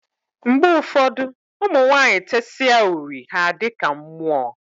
Mgbe ụfọdụ, ụmụ nwanyị tesịa uri ha a dịka mmụọ.